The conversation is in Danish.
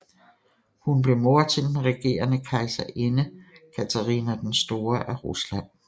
Hun blev mor til den regerende kejserinde Katharina den Store af Rusland